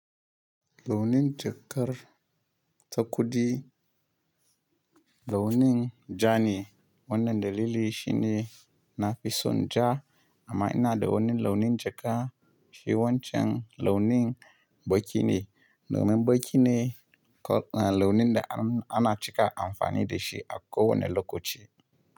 Launin jakar ta kuɗi launin ja ne, wannan dalili shi ne na fi son ja amma ina da wani launin jaka shi wancan launin baƙi ne. Launin baƙi ne launin da ana cika amfani da shi a ko wane lokaci.